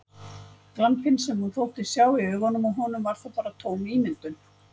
Glampinn sem hún þóttist sjá í augunum á honum var þá bara tóm ímyndun!